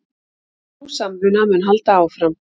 Sú samvinna mun halda áfram